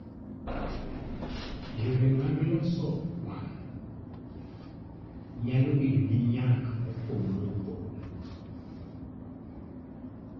Yore mag loso wang' nyalo bedo gi nyak mopogore opogore.